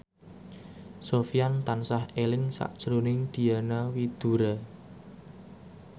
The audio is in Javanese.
Sofyan tansah eling sakjroning Diana Widoera